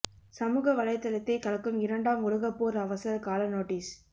சமூக வலைதளத்தை கலக்கும் இரண்டாம் உலக போர் அவசர கால நோட்டீஸ்